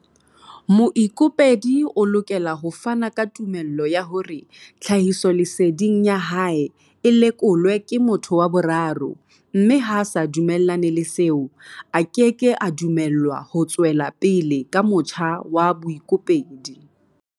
Moikopedi o lokela ho fana ka tumello ya hore tlhahisoleseding ya hae e lekolwe ke motho wa boraro mme ha a sa dumellane le seo, a keke a dumellwa ho tswela pele ka motjha wa boikopedi.